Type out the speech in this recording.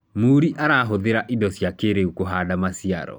murii arahuthira indo cia kĩiriu kuhanda maciaro